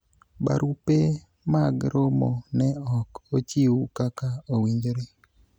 barupe mag romo ne ok ochiw kaka owinjore